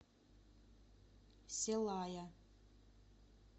селая